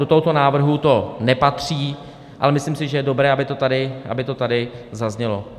Do tohoto návrhu to nepatří, ale myslím si, že je dobré, aby to tady zaznělo.